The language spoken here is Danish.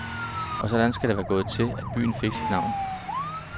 Og sådan skal det altså være gået til, at byen fik sit navn.